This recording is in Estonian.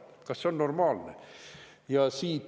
Kas see on normaalne?